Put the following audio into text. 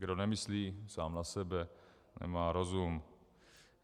Kdo nemyslí sám na sebe, nemá rozum.